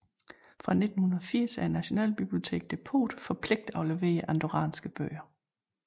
Fra 1980 er nationalbiblioteket depot for pligtafleverede andorranske bøger